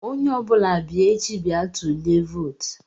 Onye ọ bụla bịa echi bịa tulie vootu!